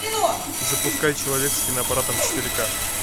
запускай человек с киноаппаратом четыре ка